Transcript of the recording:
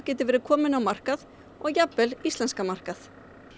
verði komin á markað og jafnvel íslenskan markað